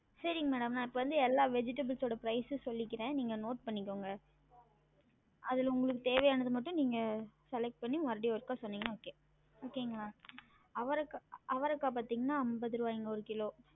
சரிங்க madam நா இப்ப வந்து எல்லா vegetables ஓட price உம் சொல்லிக்குரன் நீங்க note பன்னிக்கோங்க அதுல உங்களுக்கு தேவையானது மட்டும் நீங்க select பன்னி மறுபடியும் சொன்னிங்கன்னா okay okay ங்கலா அவரக்கா அவரக்கா பாத்திங்கன்னா அம்பது ருவாய்ங்க ஒரு கிலோ